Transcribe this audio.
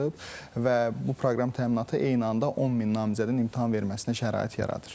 Və bu proqram təminatı eyni anda 10 min namizədin imtahan verməsinə şərait yaradır.